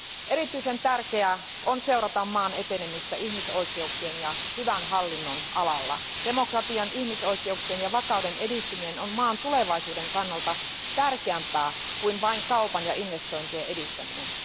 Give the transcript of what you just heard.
Erityisen tärkeää on seurata maan etenemistä ihmisoikeuksien ja hyvän hallinnon alalla. Demokratian, ihmisoikeuksien ja vakauden edistyminen on maan tulevaisuuden kannalta tärkeämpää kuin vain kaupan ja investointien edistäminen.